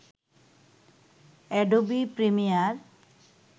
Adobe Premiere